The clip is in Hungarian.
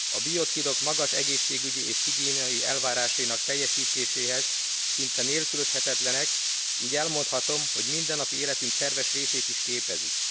A biocidok magas egészségügyi és higiéniai elvárásainak teljesítéséhez szinte nélkülözhetetlenek, így elmondhatom, hogy mindennapi életünk szerves részét is képezik.